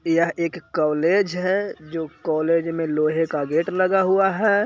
यह एक कोलेज है कोलेज के बहार लोहें का गेट बना हुआ है।